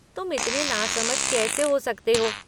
तुम इतने नासमझ कैसे हो सकते हो?